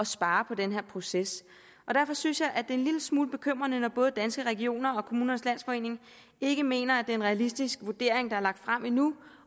spare på den her proces derfor synes jeg det er en lille smule bekymrende når både danske regioner og kommunernes landsforening ikke mener er en realistisk vurdering der er lagt frem endnu